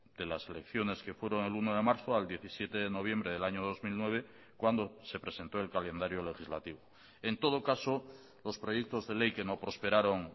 de las elecciones que fueron el uno de marzo al diecisiete de noviembre del año dos mil nueve cuando se presentó el calendario legislativo en todo caso los proyectos de ley que no prosperaron